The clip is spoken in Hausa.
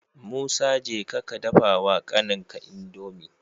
Musa jeka ka dafa wa kanin ka indomie